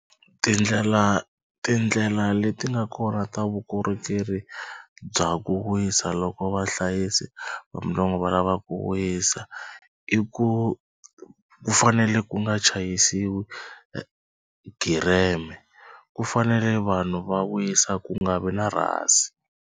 Tindlela tindlela leti nga kona ta vukorhokeri bya ku wisa loko vahlayisi va va lava ku wisa i ku ku fanele ku nga chayisiwi gireme ku fanele vanhu va wisa ku nga vi na rhasi.